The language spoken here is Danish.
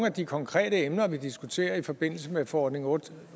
af de konkrete emner vi diskuterer i forbindelse med forordning otte